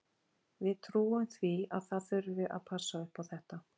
Við trúum því að það þurfi að passa upp á þetta.